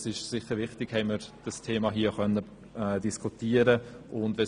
Es ist sicher wichtig, haben wir das Thema diskutieren können.